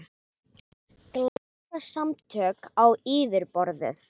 Glæpasamtök á yfirborðið